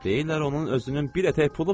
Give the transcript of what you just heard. Deyirlər onun özünün bir ətək pulu var.